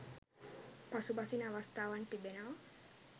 පසුබසින අවස්ථාවන් තිබෙනවා